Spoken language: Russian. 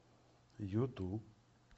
юту